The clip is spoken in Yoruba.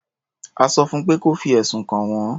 A sọ fún pé kí ó fi ẹ̀sùn kàn wọ́n.